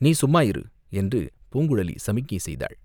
நீ சும்மா இரு, என்று பூங்குழலி சமிக்ஞை செய்தாள்.